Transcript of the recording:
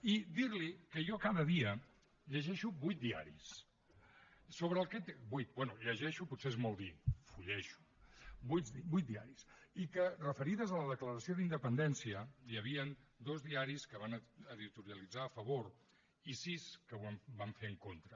i dirli que jo cada dia llegeixo vuit diaris bé llegeixo potser és molt dir fullejo vuit diaris i que referits a la declaració d’independència hi havien dos diaris que van editorialitzar a favor i sis que ho van fer en contra